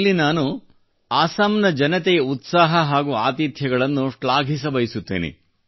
ಇಲ್ಲಿ ನಾನು ಆಸಾಮ್ ನ ಜನತೆಯ ಉತ್ಸಾಹ ಹಾಗೂ ಆತಿಥ್ಯಗಳನ್ನು ಶ್ಲಾಘಿಸಬಯಸುತ್ತೇನೆ